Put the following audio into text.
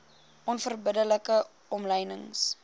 onverbidde like omlynings